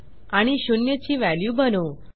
आणि शून्य ची व्हॅल्यू बनवू